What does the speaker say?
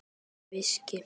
Ekki veski.